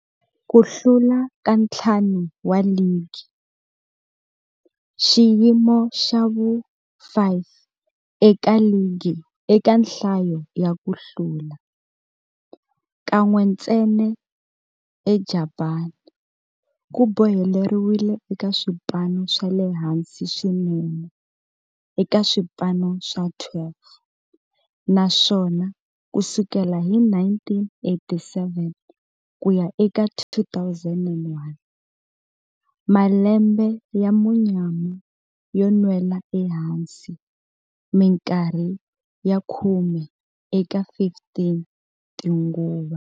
Ku hlula ka ntlhanu wa ligi, xiyimo xa vu-5 eka ligi eka nhlayo ya ku hlula, kan'we ntsena eJapani, ku boheleriwile eka swipano swa le hansi swinene eka swipano swa 12, naswona ku sukela hi 1987 ku ya eka 2001, malembe ya munyama yo nwela ehansi minkarhi ya khume eka 15 tinguva.